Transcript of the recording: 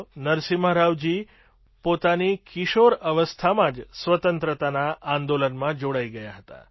શ્રી નરસિમ્હા રાવજી પોતાની કિશોરાવસ્થામાં જ સ્વતંત્રતા આંદોલનમાં જોડાઈ ગયા હતા